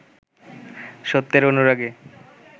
সত্যের অনুরাগে